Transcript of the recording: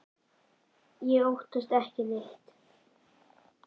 Otti óttast ekki neitt!